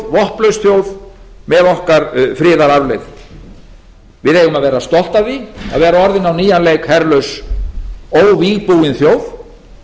vopnlaus þjóð með okkar friðararfleifð við eigum að vera stolt af því að vera orðin á nýjan leik herlaus óvígbúin þjóð